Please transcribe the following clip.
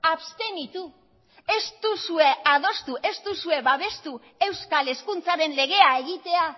abstenitu ez duzue adostu ez duzue babestu euskal hezkuntzaren legea egitea